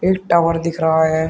एक टावर दिख रहा है।